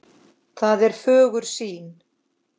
Það er fögur sýn.